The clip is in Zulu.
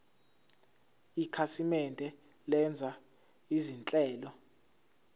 ikhasimende lenza izinhlelo